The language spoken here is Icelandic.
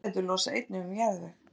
jurtaætur losa einnig um jarðveg